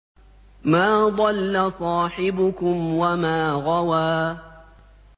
مَا ضَلَّ صَاحِبُكُمْ وَمَا غَوَىٰ